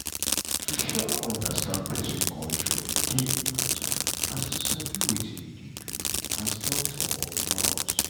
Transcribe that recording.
to um understand pesin culture dey important as to sabi wetin you dey do as doctor or nurse.